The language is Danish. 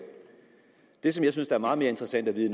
det som jeg synes der er meget mere interessant at vide